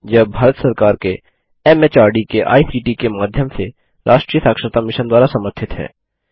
यह भारत सरकार के एमएचआरडी के आईसीटी के माध्यम से राष्ट्रीय साक्षरता मिशन द्वारा समर्थित है